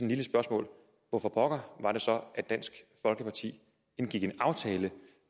lille spørgsmål hvorfor pokker var det så at dansk folkeparti indgik en aftale